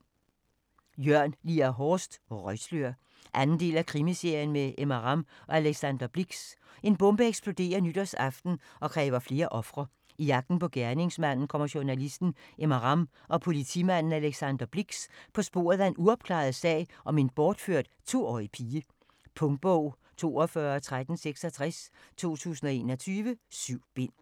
Horst, Jørn Lier: Røgslør 2. del af Krimiserien med Emma Ramm og Alexander Blix. En bombe eksploderer nytårsaften og kræver flere ofre. I jagten på gerningsmanden kommer journalisten Emma Ramm og politimanden Alexander Blix på sporet af en uopklaret sag om en bortført 2-årig pige. Punktbog 421366 2021. 7 bind.